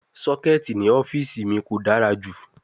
Socket ni ọfiisi mi ko dara ju